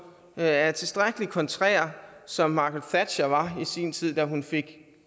er er tilstrækkelig kontrær som margaret thatcher var i sin tid da hun fik